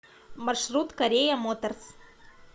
маршрут корея моторс